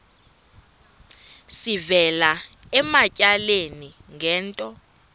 sivela ematyaleni ngento